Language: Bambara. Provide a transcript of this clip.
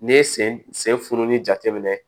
N'i ye sen sen furunin jateminɛ